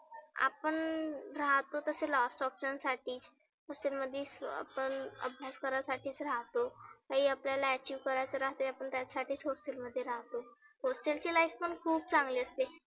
आपण राहतो तसं last option साठी. hostel मध्ये आपण अभ्यास करायासाठीच रहातो. काही आपल्याला achieve करायच राहते आपण त्यासाठी hostel मध्ये राहतो. hostel ची life पण खुप चांगली असते.